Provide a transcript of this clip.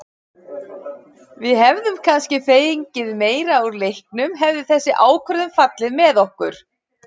Við hefðum kannski fengið meira úr leiknum hefði þessi ákvörðun fallið með okkur.